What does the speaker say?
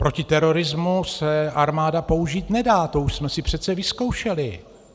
Proti terorismu se armáda použít nedá, to už jsme si přece vyzkoušeli.